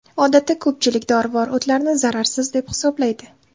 Odatda ko‘pchilik dorivor o‘tlarni zararsiz deb hisoblaydi.